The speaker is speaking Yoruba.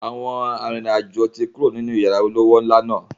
Àwọn arìnrìn-àjò tí kúrò nínú yàrá olówó ńlá náà.